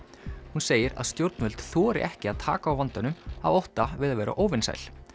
hún segir að stjórnvöld þori ekki að taka á vandanum af ótta við að vera óvinsæl